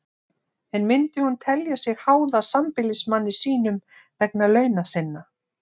En myndi hún telja sig háða sambýlismanni sínum vegna launa sinna?